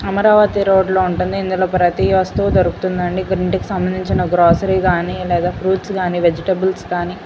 Amaravati road లో ఉంటుంది ఇందులో ప్రతి వస్తువు దొరుకుతుంది అండి ఇంటికి సంభందించిన గ్రాసెరి గాని లేదా ఫ్రూయిట్స్ గాని వెజిటబలెస్ కానీ.